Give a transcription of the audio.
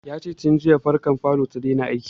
Ya ce jiya fankar falo ya daina aiki